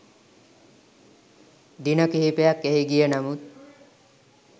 දින කිහිපයක් එහි ගිය නමුත්